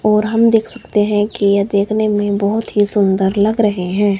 और हम देख सकते हैं कि ये देखने में बहोत ही सुंदर लग रहे हैं।